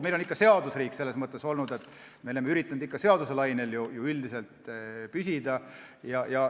Meil on ikka selles mõttes seadusriik olnud, me oleme ikka üldiselt seaduse lainel püsinud.